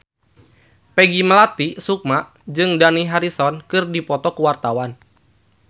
Peggy Melati Sukma jeung Dani Harrison keur dipoto ku wartawan